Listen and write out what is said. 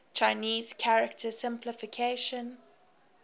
chinese character simplification